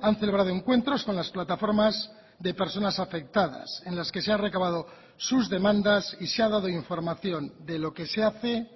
han celebrado encuentros con las plataformas de personas afectadas en las que se ha recabado sus demandas y se ha dado información de lo que se hace